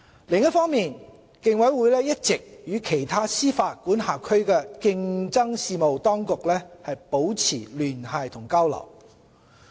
另一方面，競委會一直與其他司法管轄區的競爭事務當局保持聯繫和交流。